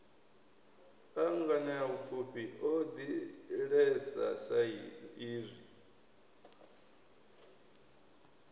a nganeapfufhi o ḓalesa saizwi